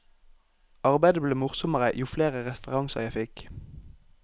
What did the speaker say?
Arbeidet ble morsommere jo flere referanser jeg fikk.